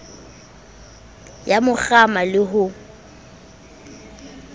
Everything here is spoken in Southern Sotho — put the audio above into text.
ya mo kgama le ho